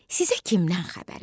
Sizə kimdən xəbər verim?